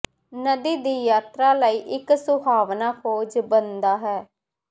ਨਦੀ ਦੀ ਯਾਤਰਾ ਲਈ ਇੱਕ ਸੁਹਾਵਣਾ ਖੋਜ ਬਣਦਾ ਹੈ